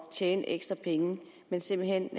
tjene ekstra penge men simpelt hen